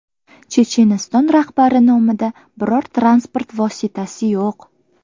Checheniston rahbari nomida biror transport vositasi yo‘q.